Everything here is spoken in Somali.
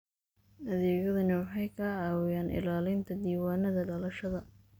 Adeegyadani waxay ka caawiyaan ilaalinta diiwaannada dhalashada.